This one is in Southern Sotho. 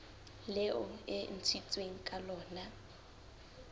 leo e ntshitsweng ka lona